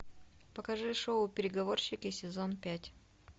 покажи шоу переговорщики сезон пять